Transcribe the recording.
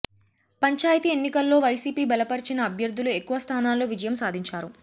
పంచాయతీ ఎన్నికల్లో వైసీపీ బలపరిచిన అభ్యర్థులు ఎక్కువ స్థానాల్లో విజయం సాధించారు